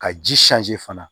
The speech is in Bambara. Ka ji fana